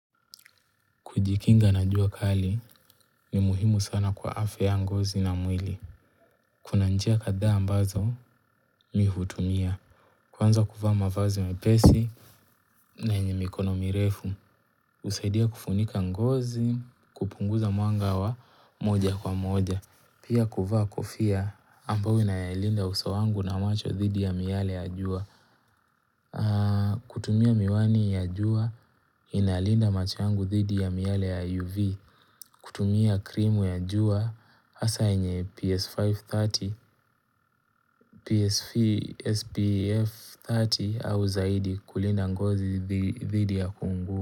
Kujikinga na njua kali ni muhimu sana kwa afya ya ngozi na mwili. Kuna njia kadhaa ambazo mi hutumia. Kwanza kuvaa mavazi mepesi na yenye mikono mirefu. Usaidia kufunika ngozi, kupunguza mwanga wa moja kwa moja. Pia kuvaa kofia ambao inayalinda uso wangu na macho thidi ya miyale ya jua. Kutumia miwani ya jua inalinda macho yangu dhidi ya miyale ya UV. Kutumia krimu ya jua hasa yenye PS530, PSVSPF30 au zaidi kulinda ngozi dhidi ya kuungua.